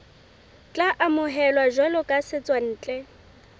tla amohelwa jwalo ka setswantle